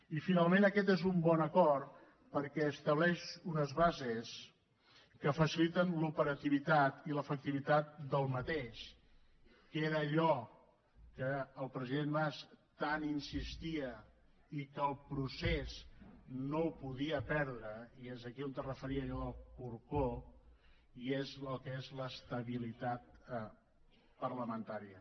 i finalment aquest és un bon acord perquè estableix unes bases que faciliten l’operativitat i l’efectivitat de l’acord mateix que era en allò que el president mas tant insistia i que el procés no podia perdre i és aquí on es referia a allò del corcó i que és l’estabilitat parlamentària